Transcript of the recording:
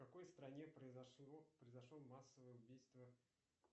в какой стране произошло массовое убийство